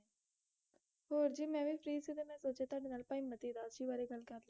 ਹੋਰ ਜੀ ਮੈਂ ਵੀ free ਸੀ ਤੇ ਮੈਂ ਸੋਚਿਆ ਤੁਹਾਡੇ ਨਾਲ ਭਾਈ ਮਤੀ ਦਾਸ ਜੀ ਬਾਰੇ ਗੱਲ ਕਰ